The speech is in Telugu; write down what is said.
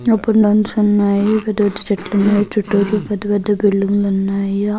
ఇప్పుడు నుంచి ఉన్నాయి. పెద్ద పెద్ద చెట్లు ఉన్నాయి. చుట్టూరు పెద్ద పెద్ద బిల్డింగ్ లు ఉన్నాయి. ఆ --